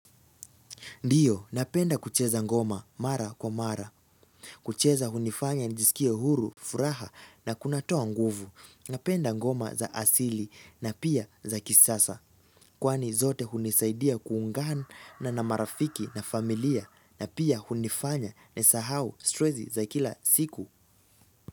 Ndiyo, napenda kucheza ngoma mara kwa mara. Kucheza hunifanya nijisikie huru, furaha na kunatoa nguvu. Napenda ngoma za asili na pia za kisasa. Kwani zote hunisaidia kuungana na marafiki na familia na pia hunifanya ni sahau stresi za kila siku.